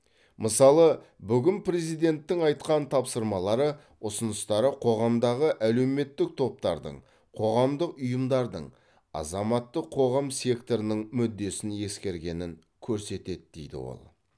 мысалы бүгін президенттің айтқан тапсырмалары ұсыныстары қоғамдағы әлеуметтік топтардың қоғамдық ұйымдардың азаматтық қоғам секторының мүддесін ескергенін көрсетеді дейді ол